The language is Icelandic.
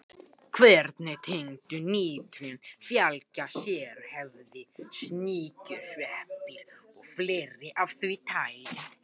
Hverri tegund nytjajurta fylgja sérhæfðir sníkjusveppir og fleira af því tagi.